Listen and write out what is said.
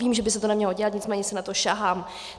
Vím, že by se to nemělo dělat, nicméně si na to sahám.